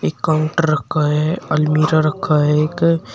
एक काउंटर रखा है अलमीरा रखा है एक--